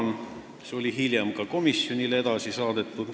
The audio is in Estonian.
See saadeti hiljem ka komisjonile edasi.